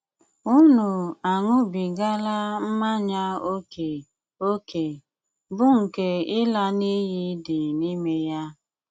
Unu aṅụbigala mmanya ókè, ókè, bụ́ nkè ịla n'iyi dị n'ime yà.